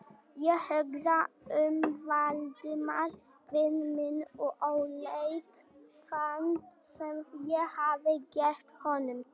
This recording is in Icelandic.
Ég hugsaði um Valdimar vin minn og óleik þann, sem ég hafði gert honum.